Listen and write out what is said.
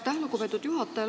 Aitäh, lugupeetud juhataja!